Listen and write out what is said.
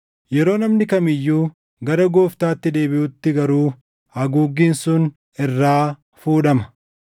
Yeroo namni kam iyyuu gara Gooftaatti deebiʼutti garuu haguuggiin sun irraa fuudhama.